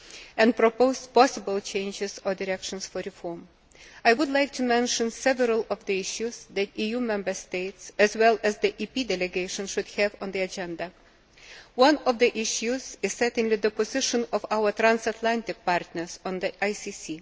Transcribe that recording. and propose possible changes or directions for reform. I would like to mention several issues that EU Member States, as well as the EP delegation, should have on the agenda. One of the issues is certainly the position of our transatlantic partners on the ICC.